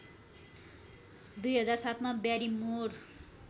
२००७ मा ब्यारिमोर